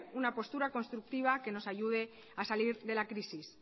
una postura constructiva que nos ayude a salir de la crisis